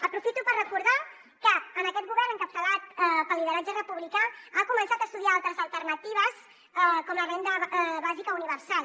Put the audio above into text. aprofito per recordar que aquest govern encapçalat pel lideratge republicà ha començat a estudiar altres alternatives com la renda bàsica universal